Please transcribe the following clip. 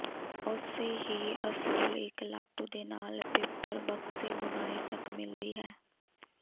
ਉਸੇ ਹੀ ਅਸੂਲ ਇੱਕ ਲਾਟੂ ਦੇ ਨਾਲ ਪੇਪਰ ਬਕਸੇ ਬੁਨਾਈ ਤੱਕ ਮਿਲਦੀ ਹੈ